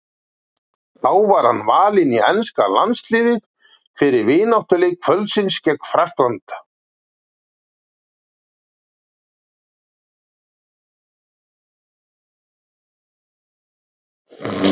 Þá var hann valinn í enska landsliðið fyrir vináttuleik kvöldsins gegn Frakklandi.